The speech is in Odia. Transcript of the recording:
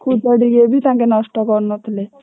ଖୁଦ ଟିକେ ବି ନଷ୍ଟ କରୁନଥିଲେ।